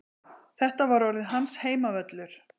Þetta var orðinn hans heimavöllur.